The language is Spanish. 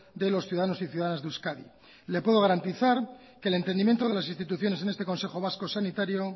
de los ciudadanos y ciudadanas de euskadi le puedo garantizar que el entendimiento de las instituciones en este consejo vasco